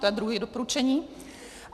To je druhé doporučení.